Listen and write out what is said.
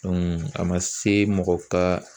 a ma se mɔgɔ ka